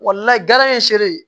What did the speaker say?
ye seere